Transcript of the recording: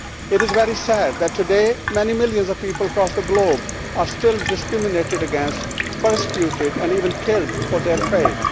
It is very sad that today many millions of people across the globe are still discriminated against, persecuted and even killed for their faith.